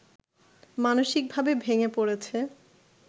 মানসিকভাবে ভেঙে পড়েছে